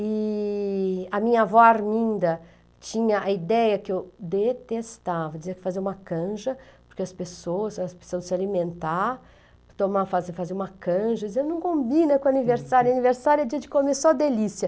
E a minha avó Arminda tinha a ideia que eu detestava, dizia que fazia uma canja, porque as pessoas, elas precisavam se alimentar, tomar, fazer fazer uma canja, dizia, não combina com aniversário, aniversário é dia de comer, só delícia.